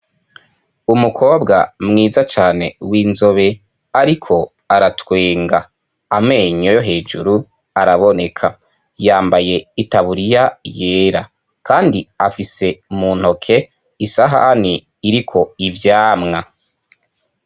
Umukobwa mwiza cane w'inzobe ariko aratwenga, amenyo yo hejuru araboneka yambaye itaburiya yera kandi afise muntoke isahani iriko ivyamwa.